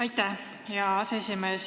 Aitäh, hea aseesimees!